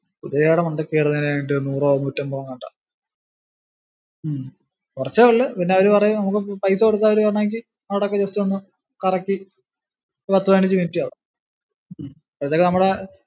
കുതിരേടെ മണ്ടയ്ക്ക് കയറുന്നതിനായിട്ടു നൂറ് നൂറ്റമ്പതോ എങ്ങാണ്ടാ. ഉം കുറച്ചേ ഉള്ളു പിന്നെ അവര് പറയുന്ന പോലെ പൈസ കൊടുത്ത അവര് വേണോങ്കി അവിടൊക്കെ just ഒന്ന് കറക്കി പത്തു പതിനഞ്ചു minute കാണും അപ്പോഴത്തേക്കു നമ്മള്